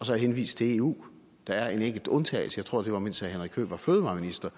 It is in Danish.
så henvist til eu der er en enkelt undtagelse jeg tror det var mens herre henrik høegh var fødevareminister